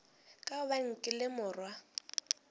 ka gobane ke le morwa